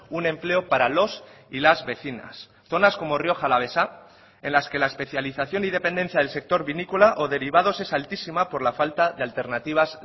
un empleo para los y las vecinas zonas como rioja alavesa en las que la especialización y dependencia del sector vinícola o derivados es altísima por la falta de alternativas